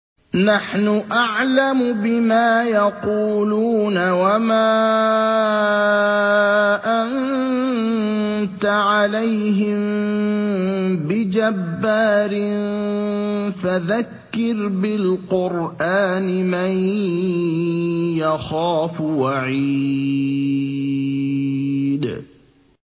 نَّحْنُ أَعْلَمُ بِمَا يَقُولُونَ ۖ وَمَا أَنتَ عَلَيْهِم بِجَبَّارٍ ۖ فَذَكِّرْ بِالْقُرْآنِ مَن يَخَافُ وَعِيدِ